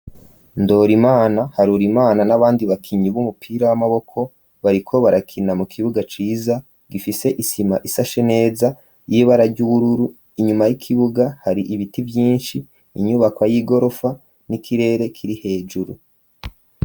Ndorerimana harurimana n'abandi bakinyi b'umupira w'amaboko bariko barakina mu kibuga ciza gifise isima isashe neza y'ibara ry'ubururu inyuma y'ikibuga hari ibiti vyinshi inyubakwa y'igorofa n'ikirere kiri hejuru.